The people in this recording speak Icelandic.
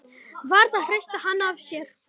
Varð að hrista hann af sér!